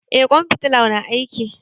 Eh ƙwan fitalar na aiki.